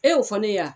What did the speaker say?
E y'o fɔ ne ye wa